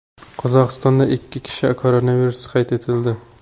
Qozog‘istonda ikki kishida koronavirus qayd etildi.